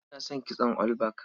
Ina son kitson all back.